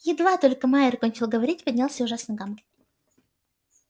едва только майер кончил говорить поднялся ужасный гам